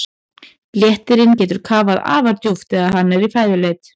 Léttirinn getur kafað afar djúpt þegar hann er í fæðuleit.